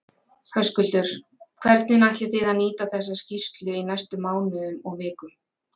Höskuldur: Hvernig ætlið þið að nýta þessa skýrslu í næstu mánuðum og vikum?